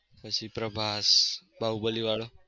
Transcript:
પછી પ્રભાસ બાહુબલી વાળો